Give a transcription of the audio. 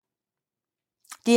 DR1